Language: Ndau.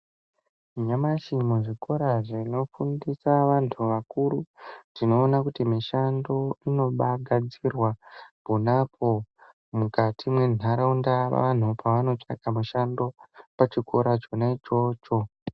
Nyamashi muzvikora zvinofundisa vantu vakuru tinoona kuti mishando inobaagadzirwa ponapo mukati mwenharaunda vanhu pavanotsvaka mishando pachikora chona ichocho.